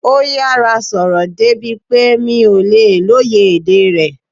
Ó yára sọ̀rọ̀ débi pé mi ò lè lóye èdè rẹ̀